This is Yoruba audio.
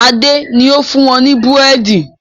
Adé ni ó fún wọn ní búrẹ́dì